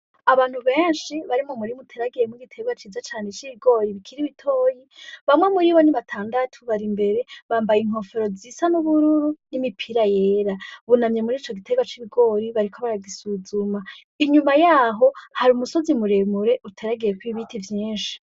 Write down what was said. Abantu benshi bari mu murima uteragiyemwo igiterwa ciza cane c'ibigori bikiri bitoyi, bamwe muri bo ni batandatu bari imbere, bambaye inkofero zisa n'ubururu n'imipira yera, bunamye murico giterwa c'ibigori bariko baragisuzuma. Inyuma yaho hari umusozi muremure uteragiyeko ibiti vyinshi.